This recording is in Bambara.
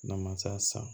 N'a ma se san